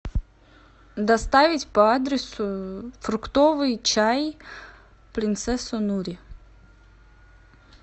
доставить по адресу фруктовый чай принцесса нури